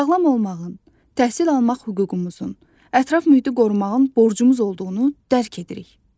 Sağlam olmağın, təhsil almaq hüququmuzun, ətraf mühiti qorumağın borcumuz olduğunu dərk edirik.